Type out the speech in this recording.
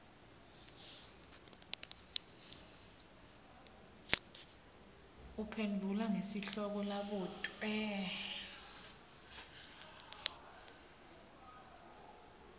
uphendvula ngesihloko labutwe